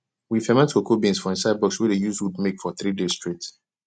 we ferment cocoa beans for inside box wey dey use wood make for three days straight